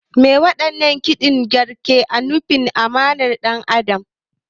Me waɗannan kididdigar ke nufi a ma'anar ɗan adam?